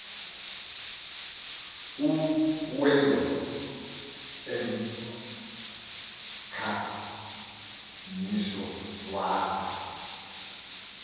uwelem emkhangiso waza